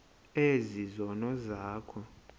ezi zono zakho